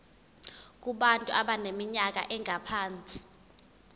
kubantu abaneminyaka engaphansi